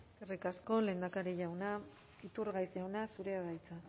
eskerrik asko lehendakari jauna iturgaiz jauna zurea da hitza